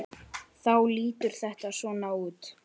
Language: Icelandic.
Þá lítur þetta svona út